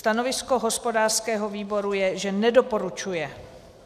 Stanovisko hospodářského výboru je, že nedoporučuje.